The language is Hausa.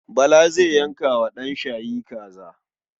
Baba zai yanka wa ɗanshayi kaza.